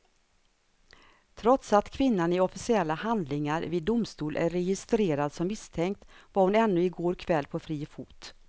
Trots att kvinnan i officiella handlingar vid domstol är registrerad som misstänkt var hon ännu i går kväll på fri fot.